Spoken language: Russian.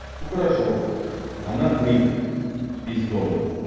ну хорошо она бык с пиздом